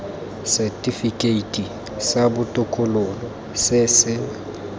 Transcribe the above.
setifikeiti sa botokololo se se